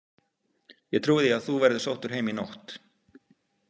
Ég trúi því að þú verðir sóttur heim í nótt.